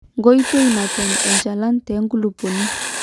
koitoi natemi enchalan tenkulupuoni